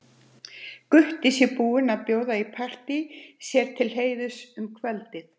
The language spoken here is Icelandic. Gutti sé búinn að bjóða í partí sér til heiðurs um kvöldið.